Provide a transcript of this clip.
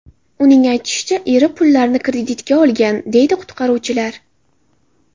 Uning aytishicha, eri pullarni kreditga olgan”, deydi qutqaruvchilar.